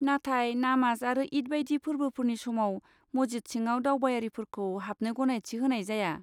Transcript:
नाथाय नामाज आरो ईद बायदि फोर्बोफोरनि समाव, मस्जिद सिङाव दावबायारिफोरखौ हाबनो गनायथि होनाय जाया।